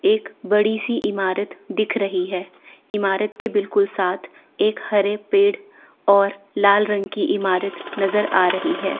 एक बड़ी सी इमारत दिख रही है इमारत के बिल्कुल साथ एक हरे पेड़ और लाल रंग की इमारत नज़र आ रही है।